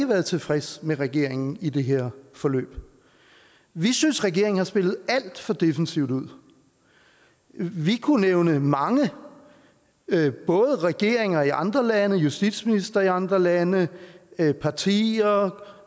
været tilfredse med regeringen i det her forløb vi synes regeringen har spillet alt for defensivt ud vi kunne nævne mange både regeringer i andre lande justitsministre i andre lande partier og